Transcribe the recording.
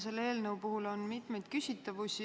Selle eelnõu puhul on mitmeid küsitavusi.